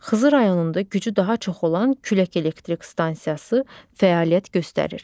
Xızı rayonunda gücü daha çox olan külək elektrik stansiyası fəaliyyət göstərir.